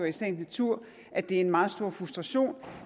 i sagens natur at det er en meget stor frustration